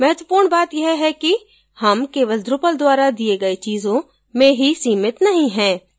महत्वपूर्ण बात यह है किहम key drupal द्वारा the गए चीजों में ही सीमित नहीं हैं